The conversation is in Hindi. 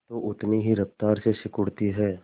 तो उतनी ही रफ्तार से सिकुड़ती है